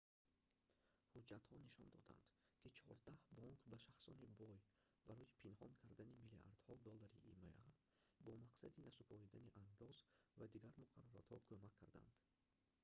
ҳуҷҷатҳо нишон доданд ки чордаҳ бонк ба шахсони бой барои пинҳон кардани миллиардҳо доллари има бо мақсади насупоридани андоз ва дигар муқарраротҳо кӯмак кардаанд